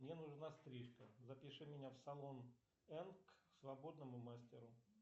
мне нужна стрижка запиши меня в салон энк к свободному мастеру